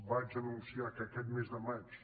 vaig anunciar que aquest mes de maig